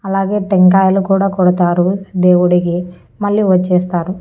అలాగే టెంకాయలు కూడా కొడతారు దేవుడికి మళ్ళీ వచ్చేస్తారు.